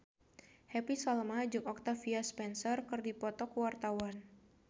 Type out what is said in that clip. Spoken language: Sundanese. Happy Salma jeung Octavia Spencer keur dipoto ku wartawan